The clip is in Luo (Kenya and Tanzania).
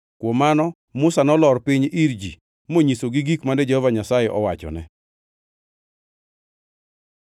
Kuom mano Musa nolor piny ir ji monyisogi gik mane Jehova Nyasaye owachone.